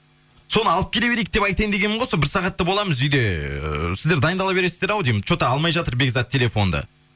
соны алып келе берейік деп айтайын дегенмін ғой сол бір сағатта боламыз үйде ыыы сіздер дайындала бересіздер ау деймін че то алмай жатыр бекзат телефонды